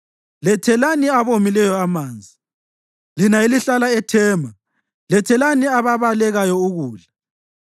lethelani abomileyo amanzi; lina elihlala eThema, lethelani ababalekayo ukudla.